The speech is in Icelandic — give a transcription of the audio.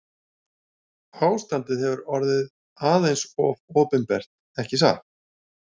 Ástandið hefur orðið aðeins of opinbert ekki satt?